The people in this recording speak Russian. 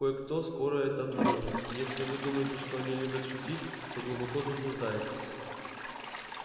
кое-кто скоро это обнаружит и если вы думаете что они любят шутить то глубоко заблуждаетесь